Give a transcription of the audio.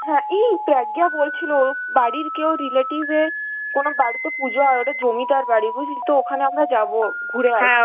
হ্যাঁ এই প্রজ্ঞা বলছিল ওর বাড়ির কেউ relative এর কোন বাড়িতে পুজো হয়, ওদের জমিদার বাড়ি বুঝলি তো, ওখানে আমরা যাব, ঘুরে আসবো